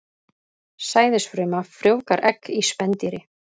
Sæðisfruma frjóvgar egg í spendýri.